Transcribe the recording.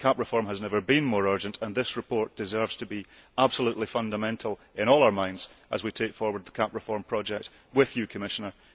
CAP reform has never been more urgent and this report deserves to be absolutely fundamental in all our minds as we take forward the CAP reform project with you Commissioner.